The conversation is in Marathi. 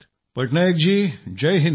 पटनायक जी जय हिंद